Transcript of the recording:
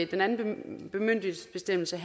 den anden bemyndigelsesbestemmelse